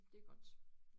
Det godt